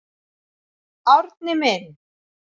Árni minn.